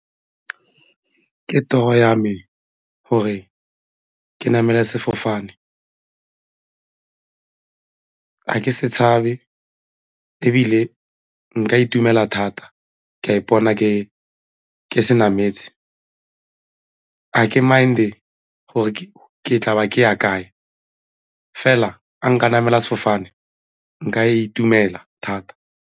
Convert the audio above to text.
Ke toro ya me gore ke namele sefofane, ga ke se tshabe ebile nka itumela thata ka ipona ke se nametse, a ke mind-e gore ke tla ba ke ya kae fela ga nka namela sefofane nka itumela thata.